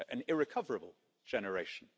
An irrecoverable generation.